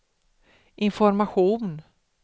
information